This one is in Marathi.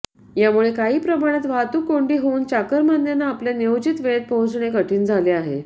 यामुळे काही प्रमाणात वाहतूक कोंडी होऊन चाकारमान्यांना आपल्या नियोजित वेळेत पोहचणे कठीण झाले आहे